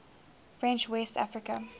french west africa